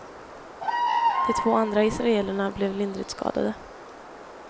De två andra israelerna blev lindrigt skadade.